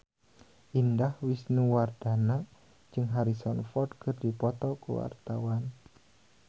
Indah Wisnuwardana jeung Harrison Ford keur dipoto ku wartawan